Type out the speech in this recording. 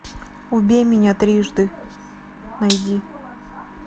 убей меня трижды найди